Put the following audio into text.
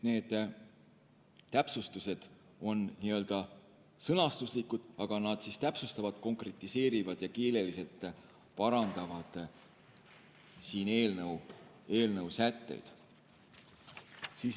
Need täpsustused on sõnastuslikud, aga nad täpsustavad, konkretiseerivad ja keeleliselt parandavad eelnõu sätteid.